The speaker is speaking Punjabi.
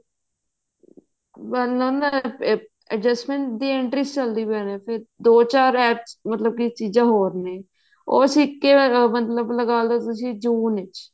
ਪਹਿਲਾਂ ਮੈਂ ਦੀ entry ਚਲਦੀ ਪਈ ਨੇ ਦੋ ਚਾਰ apps ਮਤਲਬ ਕੀ ਚੀਜ਼ਾਂ ਹੋਰ ਨੇ ਉਹ ਸਿਖ ਕੇ ਮਤਲਬ ਤੁਸੀਂ ਲਗਾਲੋ ਤੁਸੀਂ ਜੂਨ ਵਿੱਚ